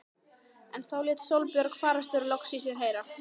En þá lét Sólborg fararstjóri loks í sér heyra.